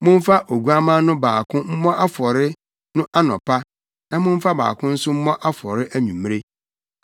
Momfa oguamma no baako mmɔ afɔre no anɔpa na momfa baako nso mmɔ afɔre anwummere.